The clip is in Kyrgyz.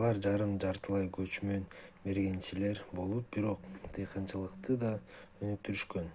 алар жарым-жартылай көчмөн мергенчилер болуп бирок дыйканчылыкты да өнүктүрүшкөн